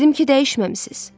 Dedim ki, dəyişməmisiz.